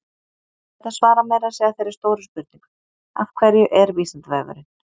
Þetta svarar meira að segja þeirri stóru spurningu, Af hverju er Vísindavefurinn?